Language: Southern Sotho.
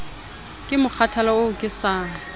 ke mokgathala oo ke sa